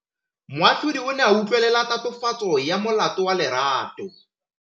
Moatlhodi o ne a utlwelela tatofatsô ya molato wa Lerato.